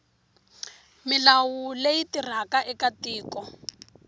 milawu leyi tirhaka eka tiko